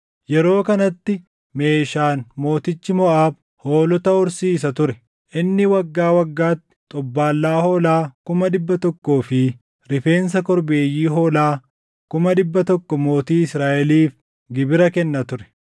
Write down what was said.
Yeroo kanatti Meeshaan mootichi Moʼaab hoolota horsiisa ture; inni waggaa waggaatti xobbaallaa hoolaa kuma dhibba tokkoo fi rifeensa korbeeyyii hoolaa kuma dhibba tokko mootii Israaʼeliif gibira kenna ture.